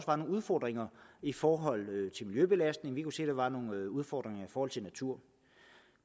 var nogle udfordringer i forhold til miljøbelastning vi kunne se der var nogle udfordringer i forhold til natur